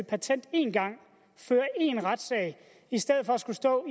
patent én gang føre én retssag i stedet for at skulle stå og